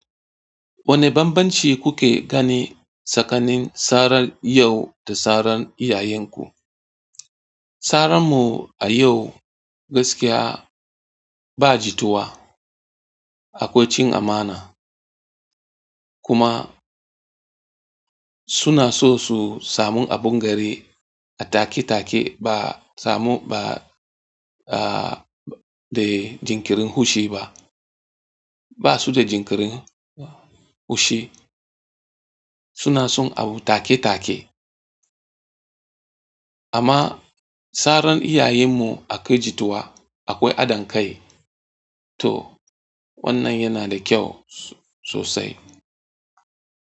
Wane bambanci kuke gani tsakanin sarar yau da sarar iyayenku? Saranmu a yau gaskiya ba jituwa, akwai cin amana. Kuma suna so su samu abin gari a take take ba samu ba, ah, da jinkirin hushi ba. Ba su da jinkirin hushi, suna son abu take take. Amma saran iyayenmu akwai jituwa, akwai adankai, to wannan yana da kyau sosai.